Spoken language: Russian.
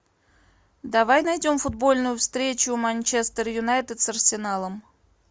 давай найдем футбольную встречу манчестер юнайтед с арсеналом